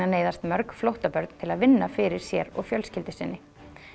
neyðast mörg flóttabörn til að vinna fyrir sér og fjölskyldu sinni